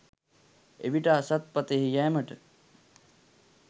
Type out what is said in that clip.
එවිට අසත් පථයෙහි යෑමට